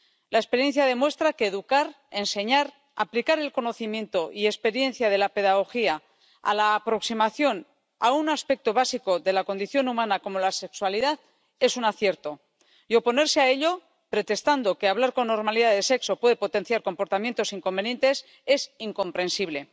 La experiencia demuestra que educar, enseñar, aplicar el conocimiento y la experiencia de la pedagogía a la aproximación a un aspecto básico de la condición humana como la sexualidad es un acierto, y oponerse a ello, pretextando que hablar con normalidad de sexo puede potenciar comportamientos inconvenientes, es incomprensible.